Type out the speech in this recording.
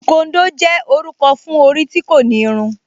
Súkóndò jẹ́ orúkọ fún orí tí kò ní irun